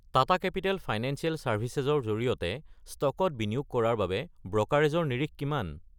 Tata Capital Financial Services ৰ জৰিয়তে ষ্টকত বিনিয়োগ কৰাৰ বাবে ব্ৰ'কাৰেজৰ নিৰিখ কিমান?